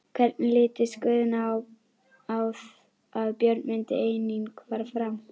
Hvernig litist Guðna á að Björn myndi einnig fara fram?